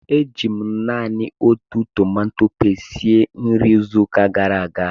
Eji m naanị otu tomato pasti sie nri izuụka gara aga